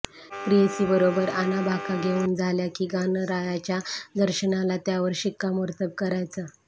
प्रेयसीबरोबर आणाभाका घेऊन झाल्या की गणरायाच्या दर्शनाला त्यावर शिक्कामोर्तब करायचं